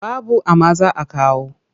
Babu amma za a kawo.